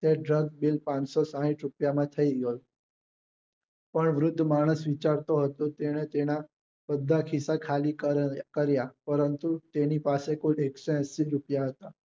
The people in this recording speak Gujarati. ત્યારે bill પાંચસો સાહીઠ રૂપિયાનું થઇ ગયું પણ વૃદ્ધ માણસ વિચારતો હતો કે અને તેના બધા ખિસ્સા ખાલી કાર્ય પરંતુ તેની પાસે કુલ એકસો એંશી રૂપિયા હતા